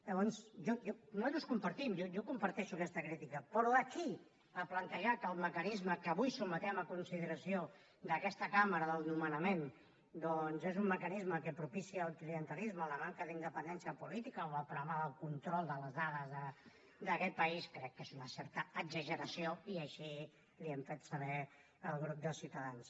llavors nosaltres compartim jo comparteixo aquesta crítica però d’aquí a plantejar que el mecanisme que avui sotmetem a consideració d’aquesta cambra del nomenament doncs és un mecanisme que propicia el clientelisme la manca d’independència política o el problema del control de les dades d’aquest país crec que és una certa exageració i així li ho hem fet saber al grup de ciutadans